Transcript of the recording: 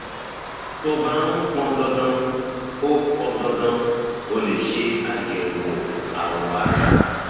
tó bá um pọn dandan o pọn dandan o lè ṣe àyẹwò awọ ara